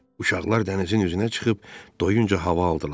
Uşaqlar dənizin üzünə çıxıb doyunca hava aldılar.